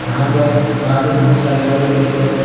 यहां पर पास में बहुत सारे बड़े बड़े पेड़ पौधे--